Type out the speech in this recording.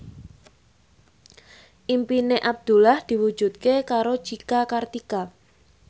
impine Abdullah diwujudke karo Cika Kartika